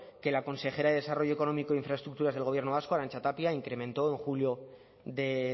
que la consejera de desarrollo económico e infraestructuras del gobierno vasco arantxa tapia incrementó en julio de